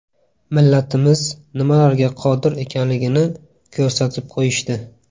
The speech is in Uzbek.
Millatimiz nimalarga qodir ekanligini ko‘rsatib qo‘yishdi.